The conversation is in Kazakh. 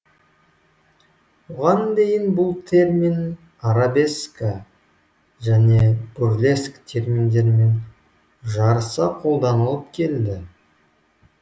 оған дейін бұл термин арабеска және бурлеск терминдерімен жарыса қолданылып келді